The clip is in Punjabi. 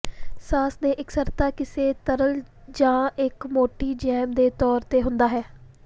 ਸਾਸ ਦੇ ਇਕਸਾਰਤਾ ਕਿਸੇ ਤਰਲ ਜ ਇੱਕ ਮੋਟੀ ਜੈਮ ਦੇ ਤੌਰ ਤੇ ਹੁੰਦਾ ਹੈ